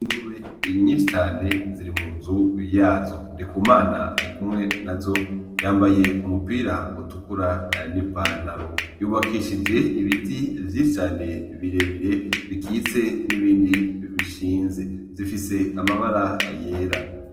Ingurube nyinshi cane ziri mu nzu yazo, NDIKUMANA arikumwe nazo yambaye umupira utukura n' ipantaro yubakishije ibiti vyinshi cane bire bire bikitse n' ibindi bishinze zifise amabara yera.